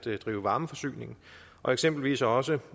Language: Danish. drive varmeforsyning og eksempelvis også